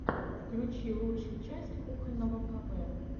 включи лучшую часть кухонного кб